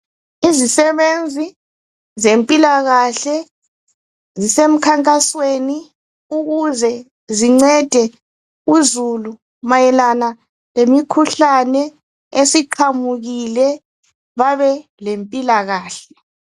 Izisebenzi zempilakahle zisemkhankasweni ukuze zincede uzulu mayalana lemikhuhlane esiqhamukile babe le mpilakahle.